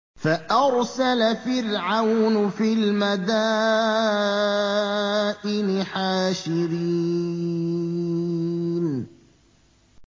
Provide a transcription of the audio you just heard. فَأَرْسَلَ فِرْعَوْنُ فِي الْمَدَائِنِ حَاشِرِينَ